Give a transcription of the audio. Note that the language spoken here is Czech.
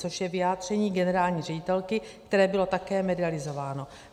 Což je vyjádření generální ředitelky, které bylo také medializováno.